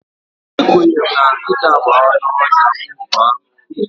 Ekwenyere na nkịta bụ anụ ọhịa wolf anụ ụlọ.